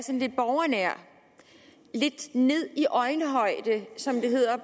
lidt borgernær lidt nede i øjenhøjde som det hedder